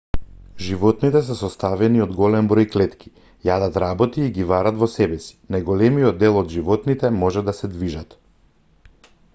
животните се составени од голем број клетки јадат работи и ги варат во себеси најголемиот дел од животните може да се движат